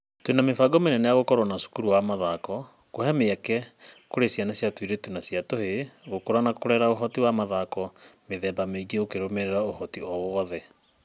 Twĩna mĩbango mĩnene ya gũkorwo na cukuru wa mathako, kũhe mweke kũrĩ ciana cia tuirĩtu na tũhĩĩ gũkura na kũrera ũhoti wa mathako mĩthemba mĩingĩ ukirũmirira ũhoti o wothe